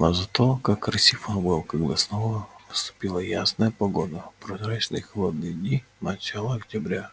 но зато как красив он был когда снова наступала ясная погода прозрачные и холодные дни начала октября